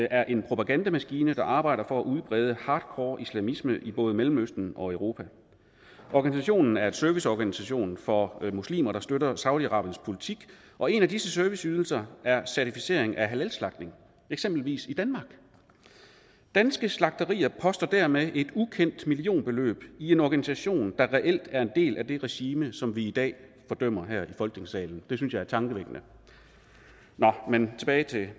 er en propagandamaskine der arbejder for at udbrede hardcore islamisme i både mellemøsten og europa organisationen er en serviceorganisation for muslimer der støtter saudi arabiens politik og en af disse serviceydelser er certificering af halalslagtning eksempelvis i danmark danske slagterier poster dermed et ukendt millionbeløb i en organisation der reelt er en del af det regime som vi i dag fordømmer her i folketingssalen det synes jeg er tankevækkende nå men tilbage til